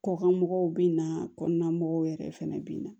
Kɔkan mɔgɔw bɛ na kɔnɔna mɔgɔw yɛrɛ fɛnɛ bɛ na